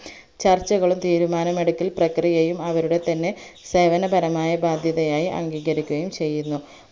ചർച്ചകളും തീരുമാനമെടുക്കൽ പ്രക്രിയയും അവരുടെതന്നെ സേവനപരമായ ബാധ്യതതയായി അംഗീകരിക്കുകയും ചെയ്യുന്നു